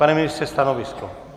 Pane ministře, stanovisko.